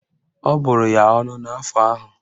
Ọ bụrụ ya ọnụ n'afọ ahụ